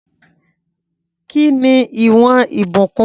Kí ni ìwọ̀n Ìbùkún?